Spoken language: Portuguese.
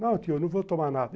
Não, tio, não vou tomar nada.